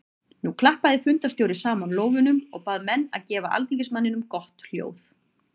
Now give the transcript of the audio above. Nú klappaði fundarstjóri saman lófunum og bað menn að gefa alþingismanninum gott hljóð.